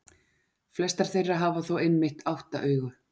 Flestar þeirra hafa þó einmitt átta augu.